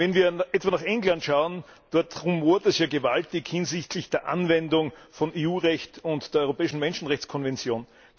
Wenn wir etwa nach England schauen, dort rumort es ja gewaltig hinsichtlich der Anwendung von EU Recht und der Europäischen Menschenrechtskonvention.